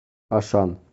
ашан